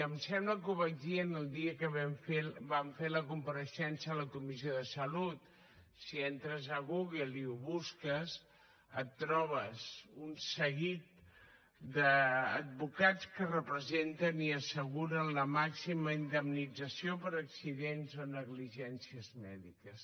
em sembla que ho vaig dir el dia que vam fer la compareixença a la comissió de salut si entres a google i ho busques et trobes un seguit d’advocats que representen i asseguren la màxima indemnització per accidents o negligències mèdiques